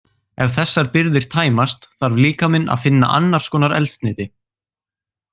Ef þessar birgðir tæmast þarf líkaminn að finna annars konar eldsneyti.